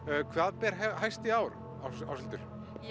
hvað ber hæst í ár Áshildur